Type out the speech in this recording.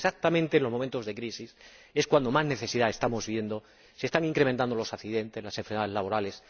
Porque exactamente en los momentos de crisis es cuando más necesidad estamos viendo se están incrementando los accidentes, las enfermedades laborales.